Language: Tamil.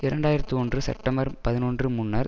இரண்டு ஆயிரத்தி ஒன்று செப்டம்பர் பதினொன்று முன்னர்